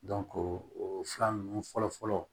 o fila ninnu fɔlɔ fɔlɔ